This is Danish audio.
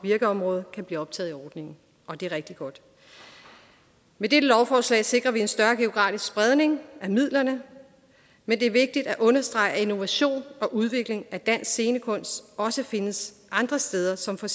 virkeområde kan blive optaget i ordningen og det er rigtig godt med dette lovforslag sikrer vi en større geografisk spredning af midlerne men det er vigtigt at understrege at innovation og udvikling af dansk scenekunst også findes andre steder som for